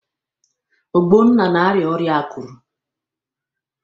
Ogbonna na-arịa ọrịa akụrụ.